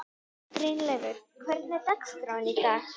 Brynleifur, hvernig er dagskráin í dag?